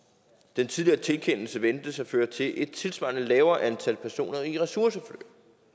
den tidligere tilkendelse ventes at føre til et tilsvarende lavere antal af personer i ressourceforløb